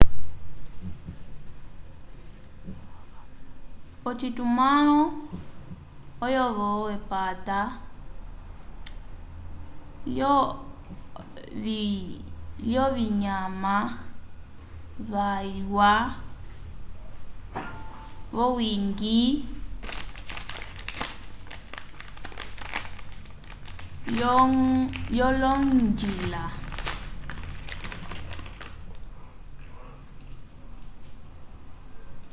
ocitumãlo oyo-vo epata lyovinyama vyalwa vyowiñgi lyolonjila